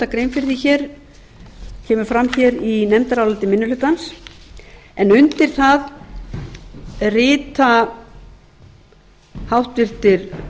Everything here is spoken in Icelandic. grein fyrir því hér það kemur fram hér í nefndaráliti minni hlutans undir nefndarálitið rita háttvirtir